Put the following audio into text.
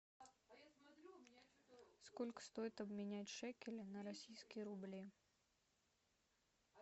сколько стоит обменять шекели на российские рубли